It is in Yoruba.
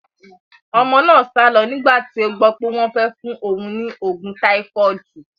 Ọmọ náà sálo nígbà tí ó gbó pé wón fẹ́ fún òun ní oògùn táífọ́ọ̀dù.